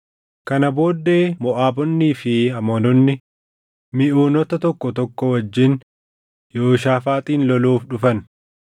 Kana booddee Moʼaabonnii fi Amoononni Miʼuunota tokko tokko wajjin Yehooshaafaaxin loluuf dhufan.